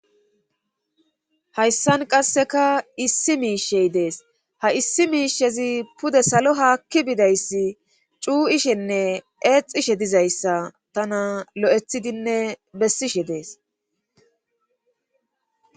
Hayssan qasseka issi miishey dees ha issi miishezi pude salo haakki bidayss cuu,ishenne eexishe dizayssa tana lo7ethidinne bessishe dees.